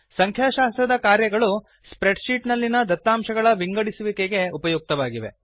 ಸಂಖ್ಯಾಶಾಸ್ತ್ರದ ಕಾರ್ಯಗಳು spreadsheet ನಲ್ಲಿನ ದತ್ತಾಂಶಗಳ ವಿಂಗಡಿಸುವಿಕೆಗೆ ಉಪಯುಕ್ತವಾಗಿವೆ